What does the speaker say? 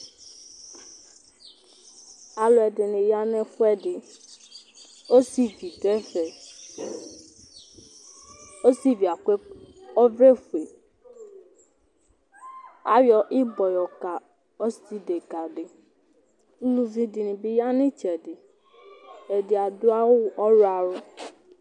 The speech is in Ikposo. Alʋɛdìní ya ŋu ɛfʋɛɖi Ɔsìví ɖu ɛfɛ Ɔsìvíɛ akɔ ɔvlɛ fʋe Ayɔ ibɔ yɔka ɔsi ɖeka ɖi Ʋlʋvi ɖìŋí bi ya ŋu itsɛɖi Ɛɖì aɖu awu ɔwlɔmɔ